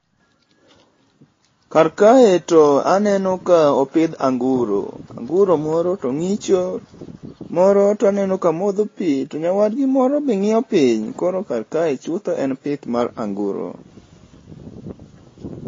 Kar kae to aneno ka opidh anguro. Anguro moro to ngicho, moro to aneno ka modho pii to nyawadgi moro be nginyo piny koro kar kae chutho en pith mar anguro